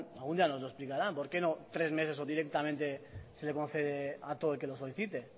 algún día nos lo explicarán por qué no tres meses o directamente se le concede a todo el que lo solicite